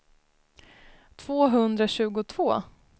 tvåhundratjugotvå